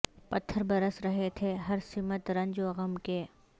پتھر برس رہے تھے ہر سمت رنج و غم کے